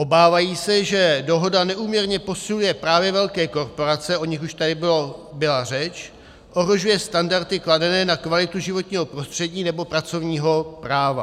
Obávají se, že dohoda neúměrně posiluje právě velké korporace - o nich už tady byla řeč -, ohrožuje standardy kladené na kvalitu životního prostředí nebo pracovního práva.